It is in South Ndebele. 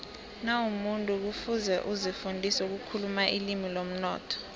nawumumuntu kufuze uzifundise ukukhuluma ilimi lomnotho